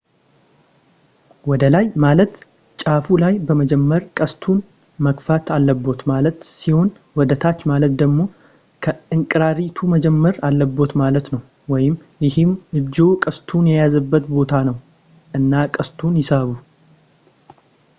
ወደላይ ማለት ጫፉ ላይ በመጀመር ቀስቱን መግፋት አለብዎት ማለት ሲሆን ወደታች ማለት ደግሞ ከእንቁራሪቱ መጀመር አለብዎት ማለት ነው ይህም እጅዎ ቀስቱን የያዘበት ቦታ ነው እና ቀስቱን ይሳቡ